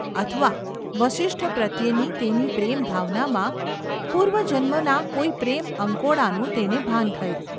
અથવા વસિષ્ઠ પ્રત્યેની તેની પ્રેમભાવનામાં પૂર્વજન્મના કોઈ પ્રેમઅંકોડાનું તેને ભાન થયું.